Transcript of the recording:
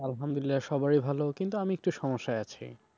আলহামদুলিল্লাহ সবারই ভালো কিন্তু আমি একটু সমস্যায় আছি।